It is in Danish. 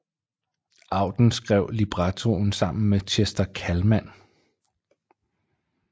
Auden skrev librettoen sammen med Chester Kallman